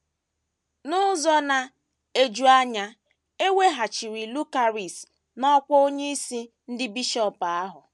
N’ụzọ na - eju anya, e weghachiri Lucaris n’ọkwá onyeisi ndị bishọp ahụ.